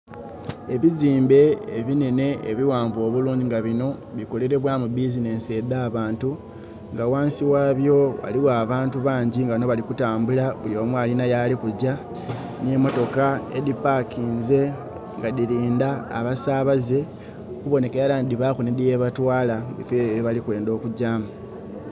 Ebizimbe ebi nhenhe ebighanvu obulungi nga binho bikolelebwamu bizinesi edha abantu nga ghansi gha byo ghaligho abantu bangi nga bano bali kutambula buli omu alinha yalikugya, nhe motoka edhipakinze nga dhilindha abasabaze okubonhekera nti dhibaku nhi dhi yebatwala mubifo byeibwe bye bali kwendha okugyamu